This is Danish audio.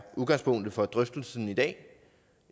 udgangspunktet for drøftelsen i dag